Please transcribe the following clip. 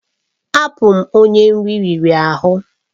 Abụ m onye nri riri ahụ.